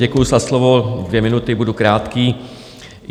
Děkuju za slovo - dvě minuty, budu krátký.